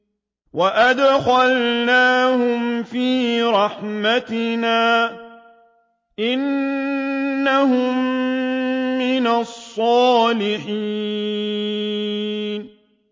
وَأَدْخَلْنَاهُمْ فِي رَحْمَتِنَا ۖ إِنَّهُم مِّنَ الصَّالِحِينَ